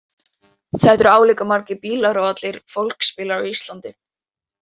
Þetta eru álíka margir bílar og allir fólksbílar á Íslandi.